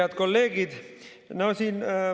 Head kolleegid!